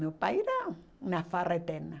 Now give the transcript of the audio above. Meu pai era uma farra eterna.